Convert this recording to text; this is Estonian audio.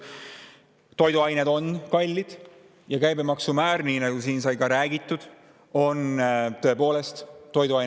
Toiduained on kallid ja käibemaksumäär, nii nagu siin sai räägitud, on toiduainetel tõepoolest Eestis suur.